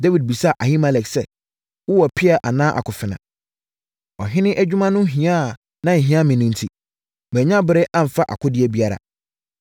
Dawid bisaa Ahimelek sɛ, “Wowɔ pea anaa akofena? Ɔhene adwuma no ho hia a na ɛhia enti, mannya berɛ amfa akodeɛ biara.”